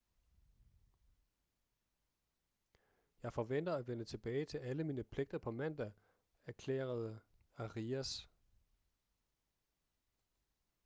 jeg forventer at vende tilbage til alle mine pligter på mandag erklærede arias